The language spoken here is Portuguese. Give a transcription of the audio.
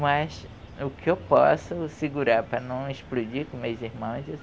Mas o que eu posso segurar para não explodir com meus irmãos, eu